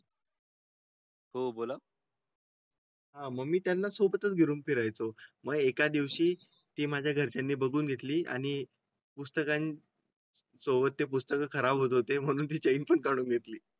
हो बोला. हां, मग मी त्यांना सोबत घेऊन फिरायचं. मग एका दिवशी ती माझ्या घरच्यांनी बघून घेतली आणि पुस्तकांची. सोबत ते पुस्तक खराब होते म्हणून तिचं चेन पण काढून घेतली.